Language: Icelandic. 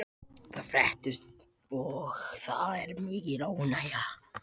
Þetta fréttist og það er mikil óánægja.